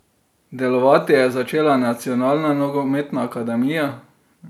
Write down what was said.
Delovati je začela nacionalna nogometna akademija.